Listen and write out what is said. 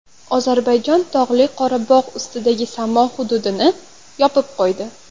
Ozarbayjon Tog‘li Qorabog‘ ustidagi samo hududini yopib qo‘ydi.